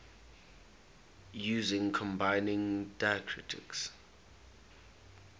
using combining diacritics